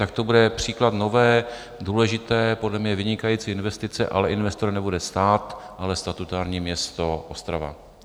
Tak to bude příklad nové, důležité, podle mě vynikající investice, ale investor nebude stát, ale statutární město Ostrava.